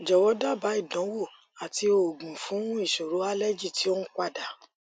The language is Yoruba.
jọwọ daba ìdánwò àti oògùn fún isoro allergy ti o n pada